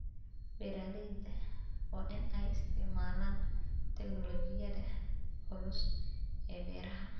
Beeralayda waa in ay isticmaalaan tignoolajiyada cusub ee beeraha.